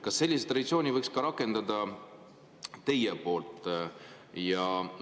Kas sellist traditsiooni võiks ka teie poolt rakendada?